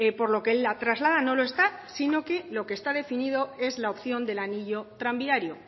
por lo que él la traslada no lo está sino que lo que está definido es la opción del anillo tranviario